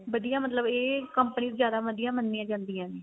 ਵਧੀਆ ਮਤਲਬ ਇਹ companies ਜਿਆਦਾ ਵਧੀਆ ਮੰਨੀਆ ਜਾਂਦੀਆ ਨੇ